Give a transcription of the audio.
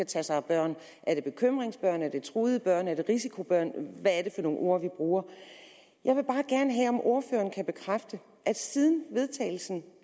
tager sig af børn er det bekymringsbørn er det truede børn er det risikobørn og hvad det for nogle ord vi bruger jeg vil bare gerne have at ordføreren bekræfter at siden vedtagelsen